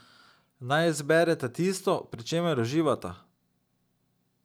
Naj izbereta tisto, pri čemer uživata.